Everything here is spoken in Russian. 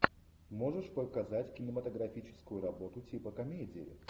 можешь показать кинематографическую работу типа комедии